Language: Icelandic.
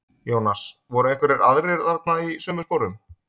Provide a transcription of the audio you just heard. Jónas: Voru einhverjir aðrir þarna í sömu sporum?